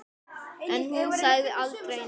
En hún sagði aldrei neitt.